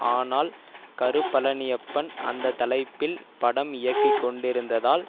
ஆனால் கருபழனியப்பன் அந்த தலைப்பில் படம் இயக்கி கொண்டிருந்ததால்